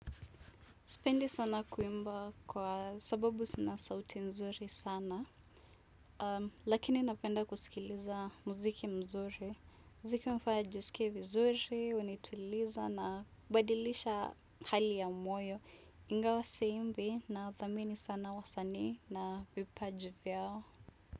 Sipendi sana kuimba kwa sababu sina sauti nzuri sana, lakini napenda kusikiliza muziki mzuri. Mziki hufanya nijisike vizuri, hunituliza na hubadilisha hali ya moyo. Ingawa siimbi nawathamini sana wasanii na vipaji vyao.